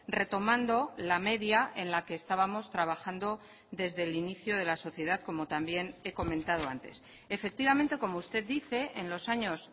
retomando la media en la que estábamos trabajando desde el inicio de la sociedad como también he comentado antes efectivamente como usted dice en los años